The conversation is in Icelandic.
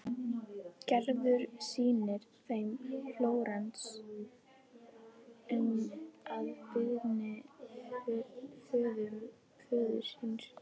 Gerður sýnir þeim Flórens að beiðni föður síns.